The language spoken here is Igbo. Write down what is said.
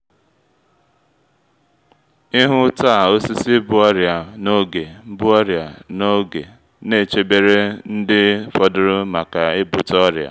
ịhụ ta osisi bu ọrịa na’oge bu ọrịa na’oge ne chebere ndị fọdụrụ maka ebute oria